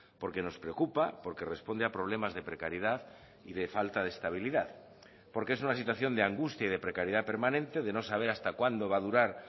porque nos preocupa porque responde a problemas de precariedad y de falta de estabilidad porque es una situación de angustia y de precariedad permanente de no saber hasta cuándo va a durar